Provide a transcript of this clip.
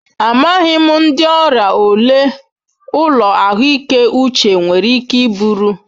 Amaghị m ndị ọrịa ole ụlọ ahụike uche nwere ike iburu.